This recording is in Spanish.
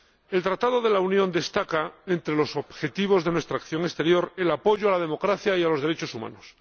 El Tratado de la Unión destaca entre los objetivos de nuestra acción exterior el apoyo a la democracia y a los derechos humanos.